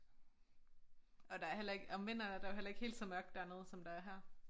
Og der er heller ikke om vinteren er der jo heller ikke helt så mørkt dernede som der er her